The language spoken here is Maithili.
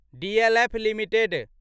DLF limited